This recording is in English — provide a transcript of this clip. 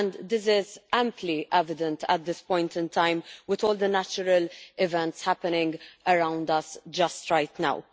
This is amply evident at this point in time with all the natural events happening around us right now.